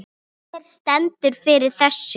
Hver stendur fyrir þessu?